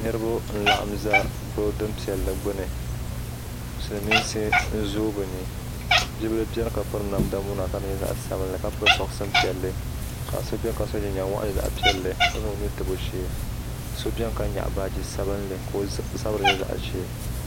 niriba n laɣim za bilidin piɛli gbani siliminsi n zo be ni bila bɛni ka lɛɛ pɛri namida zaɣ sabinli ka pɛri soɣisini piɛli ka so bɛni ka so jinjam sabilinli piɛli ka zaŋ o nu tabi o shɛɛ ka so bɛni ka nyɛgi baaji sabilinli